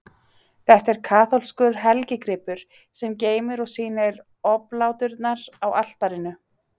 Þetta er kaþólskur helgigripur, sem geymir og sýnir obláturnar á altarinu.